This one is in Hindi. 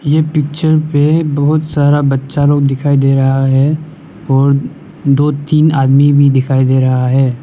ये पिक्चर पे बहुत सारा बच्चा लोग दिखाई दे रहा है और दो तीन आदमी भी दिखाई दे रहा है।